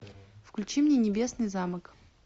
включи мне небесный замок